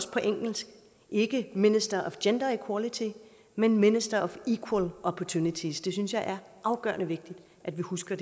på engelsk ikke minister of gender equality men minister of equal opportunity det synes jeg er afgørende vigtigt at vi husker